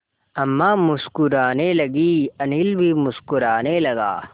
अम्मा मुस्कराने लगीं अनिल भी मुस्कराने लगा